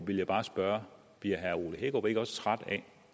vil bare spørge bliver herre ole hækkerup ikke også træt af